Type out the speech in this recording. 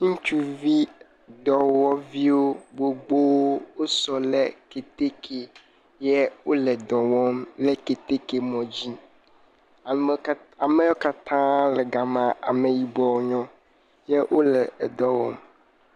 Ŋutsuvi dɔwɔviwo gbogbo o sɔ le keteke ye o le dɔwɔm le keteke mɔ dzi, ameyɔ kata le gama, ameyibɔ o nyo ye o le edɔ wɔm.